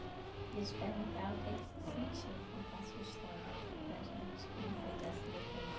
Queria te perguntar o que é que você sentiu em contar a sua história aqui para a gente, como foi dar seu depoimento?